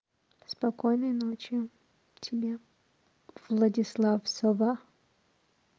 спокойной ночи тебе владислав сова